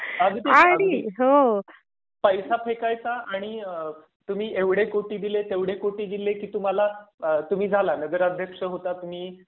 अगदीच. अगदीच पैसा फेकायचा आणि आह तुम्ही एवढे कोटी दिले तेवढे कोटी दिले की तुम्हाला आह तुम्ही झाला नगर अध्यक्ष होता तुम्ही.